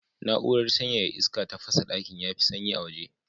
Na'urar sanyaya iska ta sa ɗakin ya fi sanyi a waje.